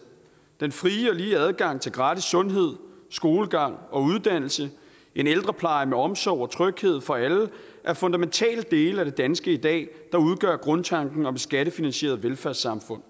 den frie og lige adgang til gratis sundhed skolegang og uddannelse en ældrepleje med omsorg og tryghed for alle er fundamentale dele af det danske i dag der udgør grundtanken om et skattefinansieret velfærdssamfund